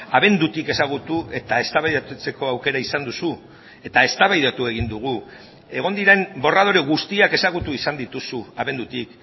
abendutik ezagutu eta eztabaidatzeko aukera izan duzu eta eztabaidatu egin dugu egon diren borradore guztiak ezagutu izan dituzu abendutik